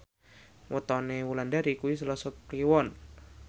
wetone Wulandari kuwi Selasa Kliwon